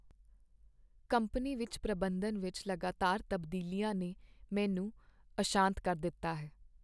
Company ਵਿੱਚ ਪ੍ਰਬੰਧਨ ਵਿੱਚ ਲਗਾਤਾਰ ਤਬਦੀਲੀਆਂ ਨੇ ਮੈਨੂੰ ਅਸ਼ਾਂਤ ਕਰ ਦਿੱਤਾ ਹੈ।